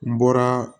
N bɔra